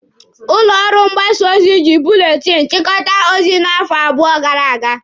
Ụlọ ọrụ mgbasa ozi ji buletinụ chịkọta ozi n'afọ abụọ gara aga.